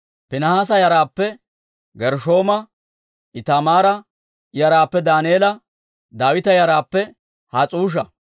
Piinihaasa yaraappe Gershshooma, Itamaara yaraappe Daaneela, Daawita yaraappe Has's'uusha,